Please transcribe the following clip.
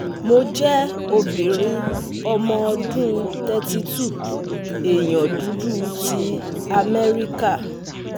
Mo je obinrin omo odun thirty two èèyàn dudu ti amẹ́ríkà